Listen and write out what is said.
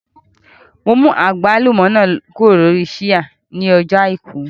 Mo mú àgbálùmọ́ náà kúrò lórí ṣíà ní ọjọ́ àìkú